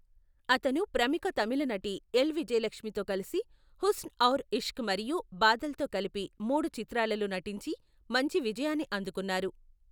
అతను ప్రముఖ తమిళ నటి ఎల్. విజయలక్ష్మితో కలిసి హుస్న్ ఔర్ ఇష్క్ మరియు బాదల్తో కలిపి మూడు చిత్రాలలో నటించి మంచి విజయాన్ని అందుకున్నారు .